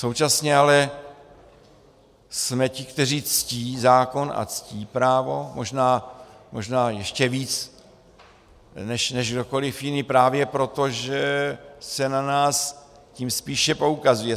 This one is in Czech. Současně ale jsme ti, kteří ctí zákon a ctí právo, možná ještě víc než kdokoliv jiný, právě proto, že se na nás tím spíše poukazuje.